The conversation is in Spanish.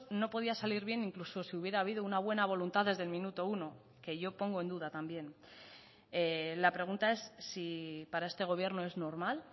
no podía salir bien incluso si hubiera habido una buena voluntad desde el minuto uno que yo pongo en duda también la pregunta es si para este gobierno es normal